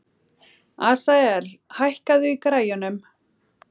Asael, hækkaðu í græjunum.